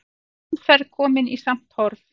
Umferð komin í samt horf